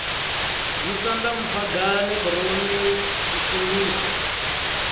musanda mphagane khoroni u sengisa